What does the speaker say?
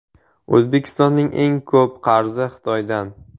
O‘zbekistonning eng ko‘p qarzi Xitoydan.